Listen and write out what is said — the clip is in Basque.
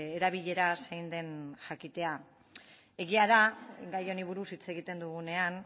erabilera zein den jakitea egia da gai honi buruz hitz egiten dugunean